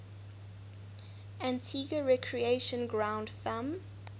antigua recreation ground thumb